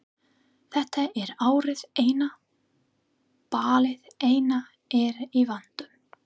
Þetta er árið eina, ballið eina er í vændum.